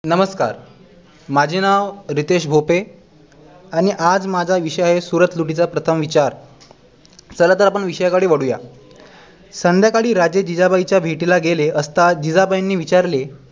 नमस्कार माझे नाव रितेश भोपे आणि आज माझा विषय आहे सुरत लुटीचा प्रथम विचार चला तर आपण विषयाकडे वाळूया संध्याकाळी राजे जिजबाईंच्या भेटीला गेले असता जिजबाईंनी विचारले